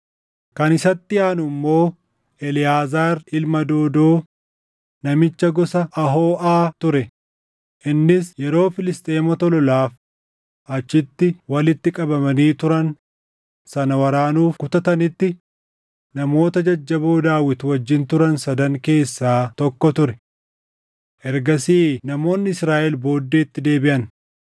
Kan isatti aanu immoo Eleʼaazaar ilma Doodoo namicha gosa Ahooʼaa ture; innis yeroo Filisxeemota lolaaf achitti walitti qabamanii turan sana waraanuuf kutatanitti, namoota jajjaboo Daawit wajjin turan sadan keessaa tokko ture. Ergasii namoonni Israaʼel booddeetti deebiʼan;